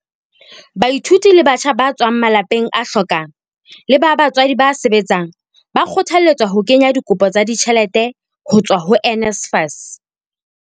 Baithuti le batjha ba tswang malapeng a hlokang le ba batswadi ba sebetsang ba kgothalletswa ho kenya dikopo tsa ditjhelete ho tswa ho NSFAS.